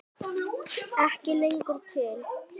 Ekki lengur til!